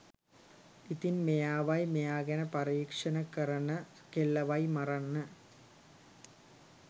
ඉතින් මෙයාවයි මෙයා ගැන පරීක්ෂණ කරන කෙල්ලවයි මරන්න